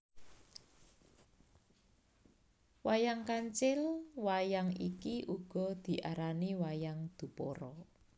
Wayang KancilWayang iki uga diarai wayang Dupara